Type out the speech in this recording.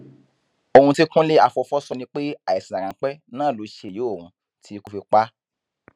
ohun tí kúnlé afọfọ sọ ni pé àìsàn ráńpẹ náà ló ṣe ìyà ohun tí ikú fi pa á